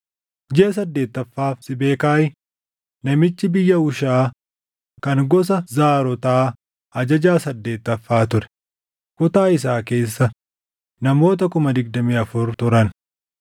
Jiʼa saddeettaffaaf Siibekaay namichi biyya Hushaa kan gosa Zaarotaa ajajaa saddeettaffaa ture; kutaa isaa keessa namoota 24,000 turan.